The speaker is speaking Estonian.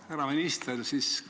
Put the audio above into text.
Härra minister!